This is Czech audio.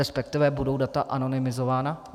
Respektive budou data anonymizována?